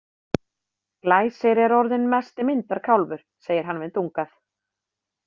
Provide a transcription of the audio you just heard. Glæsir er orðinn mesti myndarkálfur, segir hann við Dungað.